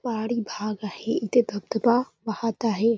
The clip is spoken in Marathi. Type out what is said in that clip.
पहाडी भाग आहे इथे धबधबा वाहत आहे.